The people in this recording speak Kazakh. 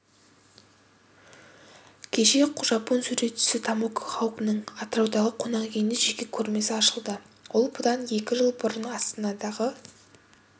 кеше жапон суретшісі томоко хоукнің атыраудағы қонақүйінде жеке көрмесі ашылды ол бұдан екі жыл бұрын астанадағы